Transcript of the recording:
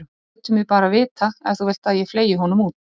Þú lætur mig bara vita ef þú vilt að ég fleygi honum út.